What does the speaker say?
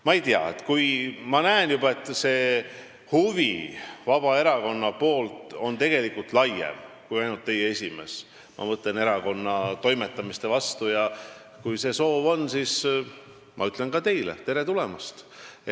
Ma ei tea, ma näen, et see Vabaerakonna huvi meie erakonna toimetamiste vastu on tegelikult laiem, seda huvi ei tunne ainult teie esimees, ja kui ka teil sama soov on, siis ma ütlen ka teile tere tulemast.